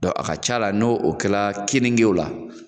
a ka ca la n'o o kɛla kenige la,